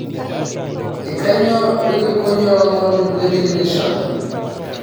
kainyio ilukuny oolomon le daily nation